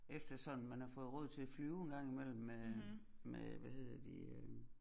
Efter sådan man har fået råd til at flyve en gang i mellem med med hvad hedder de øh